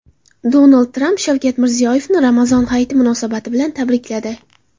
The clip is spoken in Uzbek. Donald Tramp Shavkat Mirziyoyevni Ramazon hayiti munosabati bilan tabrikladi.